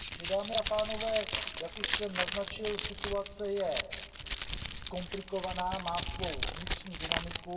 Dámy a pánové, jak už jsem naznačil, situace je komplikovaná, má svou vnitřní dynamiku.